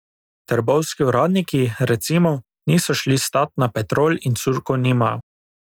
Trbovski uradniki, recimo, niso šli stat na Petrol in curkov nimajo.